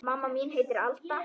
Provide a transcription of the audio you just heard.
Mamma mín heitir Alda.